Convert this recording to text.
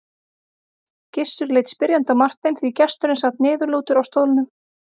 Gizur leit spyrjandi á Martein því gesturinn sat niðurlútur á stólnum.